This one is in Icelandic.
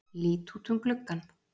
Lít út um gluggann.